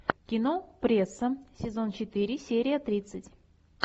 кино пресса сезон четыре серия тридцать